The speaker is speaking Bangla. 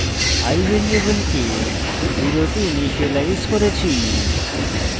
i ভ্যারিয়েবলকে 0 তে ইনিসিয়েলাইজ করেছি